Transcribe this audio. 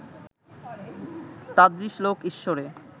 তাদৃশ লোক ঈশ্বরে